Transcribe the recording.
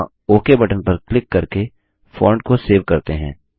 यहाँ OK button पर click करके फोंट को सेव करते हैं